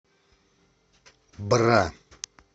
бра